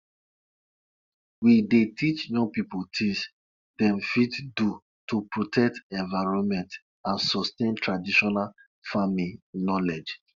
na my boy i dey send go check drip line check drip line wey we dey use water farm for dry season